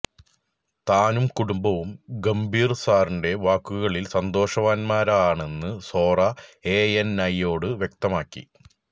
താനും കുടുംബവും ഗംഭീര് സാറിന്റെ വാക്കുകളില് സന്തോഷവാന്മാരാണെന്ന് സോറ എഎന്ഐയോട് വ്യക്തമാക്കി